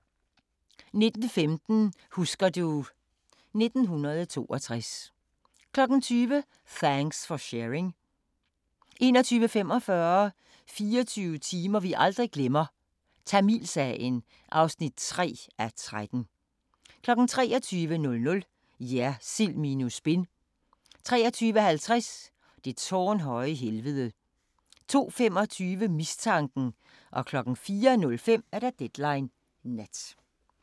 19:15: Husker du ... 1962 20:00: Thanks for Sharing 21:45: 24 timer vi aldrig glemmer - Tamilsagen (3:13) 23:00: Jersild minus spin 23:50: Det tårnhøje helvede 02:25: Mistanken 04:05: Deadline Nat